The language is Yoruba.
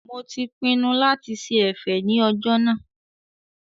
Mo ti pinnu lati ṣe ẹ̀fẹ̀ ní ọjọ́ náà